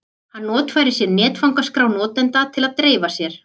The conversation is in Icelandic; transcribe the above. Hann notfærir sér netfangaskrá notenda til að dreifa sér.